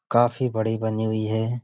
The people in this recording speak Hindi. काफी बड़ी बनी हुई है।